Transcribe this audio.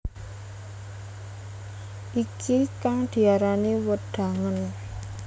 Iki kang diarani wedangen